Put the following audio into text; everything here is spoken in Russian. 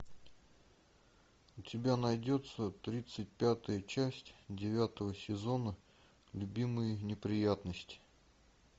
у тебя найдется тридцать пятая часть девятого сезона любимые неприятности